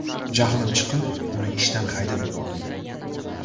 Jahlim chiqib, uni ishdan haydab yubordim.